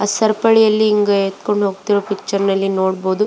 ಆಹ್ಹ್ ಸರಪಳಿಯಲ್ಲಿ ಹಿಂಗೇ ಎತ್ಕೊಂಡು ಹೋಗ್ತಿರೋ ಪಿಕ್ಟುರಿನಲ್ಲಿ ನೋಡಬಹುದು.